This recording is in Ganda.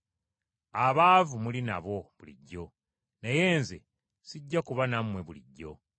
Abaavu muli nabo bulijjo, naye Nze sijja kuba nammwe bulijjo.”